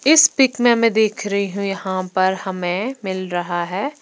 इस पिक में मै देख रही हूं यहां पर हमें मिल रहा है।